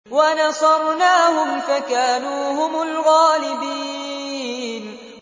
وَنَصَرْنَاهُمْ فَكَانُوا هُمُ الْغَالِبِينَ